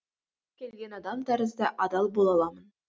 кез келген адам тәрізді адал бола аламын